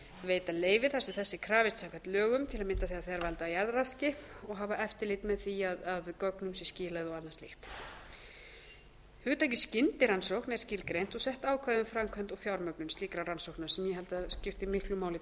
veita leyfi þar sem þess er krafist samkvæmt lögum til að mynda þegar þær valda jarðraski og hafa eftirlit með því að gögnum sé skilað og annað slíkt fimmta hugtakið skyndirannsókn er skilgreint og sett ákvæði um framkvæmd og fjármögnun slíkra rannsókna sem ég held að skipti miklu máli